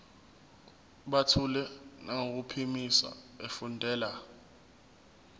buthule nangokuphimisa efundela